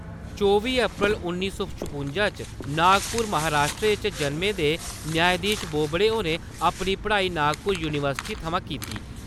चौबी अप्रैल उन्नी सौ छपुंजा च नागपुर महाराष्ट्र च जन्में दे न्यायधीश बोबड़े होरें अपनी पढ़ाई नागपुर यूनिवर्सिटी थमां कीती।